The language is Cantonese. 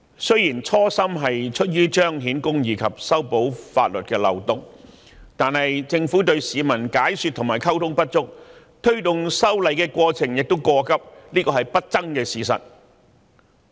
雖然修例的初心是出於彰顯公義及修補法律漏洞，但政府對市民解說和溝通不足，推動修例的過程亦過急，這是不爭的事實。